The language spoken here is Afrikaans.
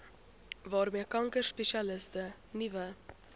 waarmee kankerspesialiste nuwe